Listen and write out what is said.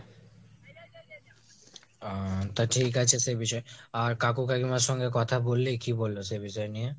আহ তা ঠিক আছে সে বিষয়, আর কাকু কাকিমার সঙ্গে কথা বললি কি বলবো সে বিষয় নিয়ে?